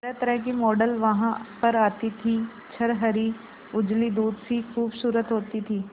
तरहतरह की मॉडल वहां पर आती थी छरहरी उजली दूध सी खूबसूरत होती थी